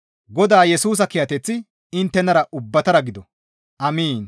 Godaa Yesusa kiyateththi inttenara ubbatara gido. Amiin!